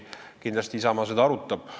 Kindlasti Isamaa seda arutab.